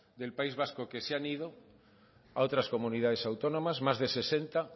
de país vasco que se han ido a otras comunidades autónomas más de sesenta